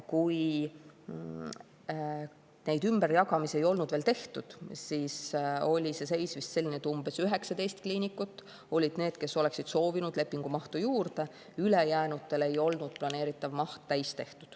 Kui neid ümberjagamisi ei olnud veel tehtud, siis oli see seis vist selline, et 19 kliinikut olid need, kes oleksid soovinud lepingumahtu juurde, ülejäänutel ei olnud planeeritav maht täis.